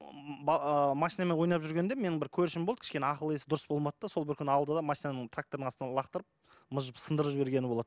машинамен ойнап жүргенімде менің бір көршім болды кішкене ақыл есі дұрыс болмады да сол бір күні алды да машинаны трактордың астына лақтырып мыжып сындырып жібергені болады